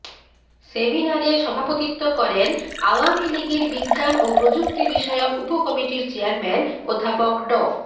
সেমিনারে সভাপতিত্ব করেন আওয়ামী লীগের বিজ্ঞান ও প্রযুক্তিবিষয়ক উপকমিটির চেয়ারম্যান অধ্যাপক ড